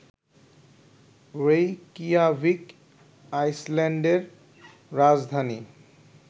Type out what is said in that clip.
Reykjavik আইসল্যান্ডের রাজধানী